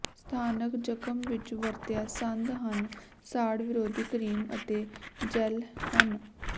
ਸਥਾਨਕ ਜਖਮ ਵਿੱਚ ਵਰਤਿਆ ਸੰਦ ਹਨ ਸਾੜ ਵਿਰੋਧੀ ਕਰੀਮ ਅਤੇ ਜੈੱਲ ਹਨ